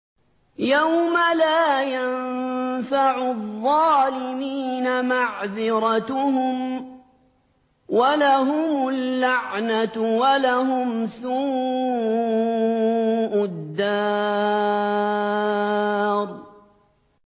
يَوْمَ لَا يَنفَعُ الظَّالِمِينَ مَعْذِرَتُهُمْ ۖ وَلَهُمُ اللَّعْنَةُ وَلَهُمْ سُوءُ الدَّارِ